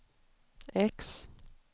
X